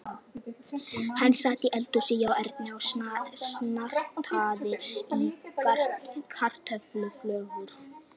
Hann sat í eldhúsinu hjá Erni og nartaði í kartöfluflögur.